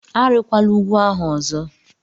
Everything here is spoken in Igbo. Arịkwala ugwu ahụ ọzọ!